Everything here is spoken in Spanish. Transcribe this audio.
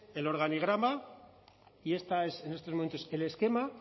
el organigrama y este es en estos momentos el esquema